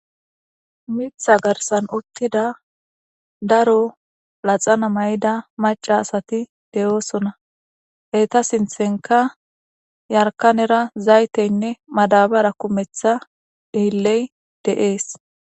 Miththa garissanni uttida laxana mayida maca asati de'osona ,eta sinththanikka yaarikanera zayiteyinne madabara kumeththa daro uttides.